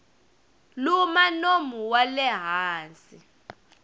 luma nomo wa le hansi